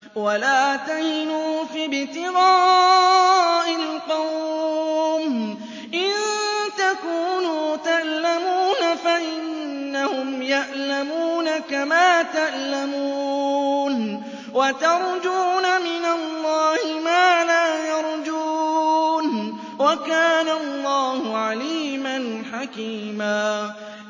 وَلَا تَهِنُوا فِي ابْتِغَاءِ الْقَوْمِ ۖ إِن تَكُونُوا تَأْلَمُونَ فَإِنَّهُمْ يَأْلَمُونَ كَمَا تَأْلَمُونَ ۖ وَتَرْجُونَ مِنَ اللَّهِ مَا لَا يَرْجُونَ ۗ وَكَانَ اللَّهُ عَلِيمًا حَكِيمًا